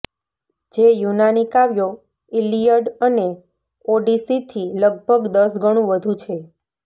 જે યુનાની કાવ્યો ઇલીયડ અને ઓડીસીથી લગભગ દસ ગણું વધુ છે